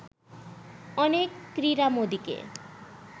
অনেক ক্রীড়ামোদীকে